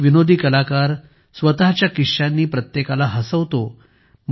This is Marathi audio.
इक विनोदी कलाकार स्वतःच्या किश्श्यांनी प्रत्येकाला हसवतो